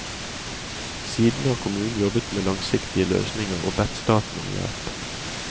Siden har kommunen jobbet med langsiktige løsninger og bedt staten om hjelp.